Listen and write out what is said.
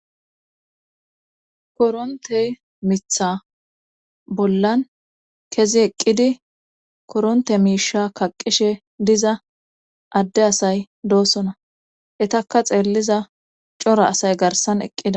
korontey mitha bollan kezi eqqidi koronte miisha kaqishe diza adde asay doosona etakka xeelliza cora asay garsan eqqida